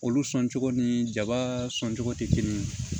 Olu sɔn cogo ni jaba sɔncogo tɛ kelen ye